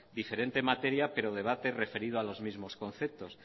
diferente materia pero debate referido a los mismos conceptos